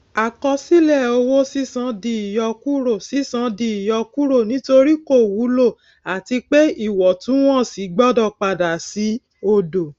àkọsílẹ owó sísan di ìyọkúrò sísan di ìyọkúrò nítorí kò wúlò àti pé ìwọtúnwọsí gbọdọ padà sí odò